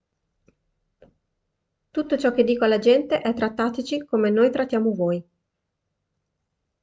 tutto ciò che dico alla gente è trattateci come noi trattiamo voi